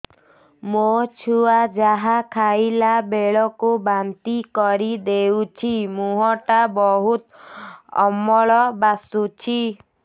ମୋ ଛୁଆ ଯାହା ଖାଇଲା ବେଳକୁ ବାନ୍ତି କରିଦଉଛି ମୁହଁ ଟା ବହୁତ ଅମ୍ଳ ବାସୁଛି